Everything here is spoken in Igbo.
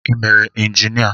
Ị mere injinia?